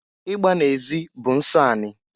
Igba na-ezi bụ nsọ anị.